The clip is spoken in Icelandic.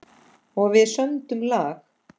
Og við sömdum lag.